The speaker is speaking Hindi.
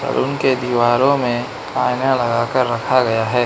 और उनके दीवारों में आईना लगा कर रखा गया है।